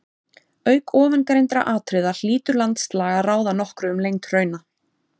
Auk ofangreindra atriða hlýtur landslag að ráða nokkru um lengd hrauna.